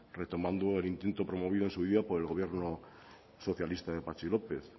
retomando el intento promovido en su día por el gobierno socialista de patxi lópez